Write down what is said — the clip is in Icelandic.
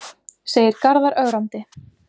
segir Garðar ögrandi.